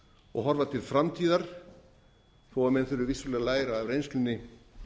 og horfa til framtíðar þó en þurfi vissulega að læra af reynslunni